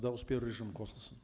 дауыс беру режимі қосылсын